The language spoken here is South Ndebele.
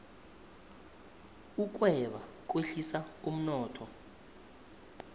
ukweba kwehlisa umnotho